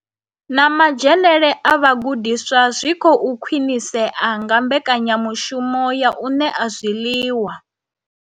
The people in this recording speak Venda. Na madzhenele a vhagudiswa zwi khou khwinisea nga mbekanya mushumo ya u ṋea zwiḽiwa.